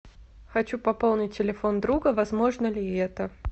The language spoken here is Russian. хочу пополнить телефон друга возможно ли это